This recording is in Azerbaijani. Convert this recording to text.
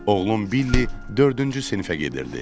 Oğlum Billi dördüncü sinifə gedirdi.